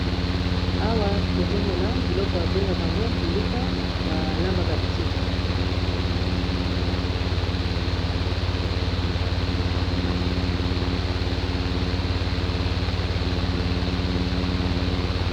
Awa tozomona biloko babengaka yango mbilika, balambelaka ti.